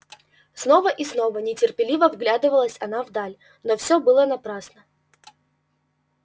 снова и снова нетерпеливо вглядывалась она вдаль но всё было напрасно